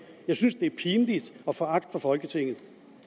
jeg synes det er pinligt og foragt for folketinget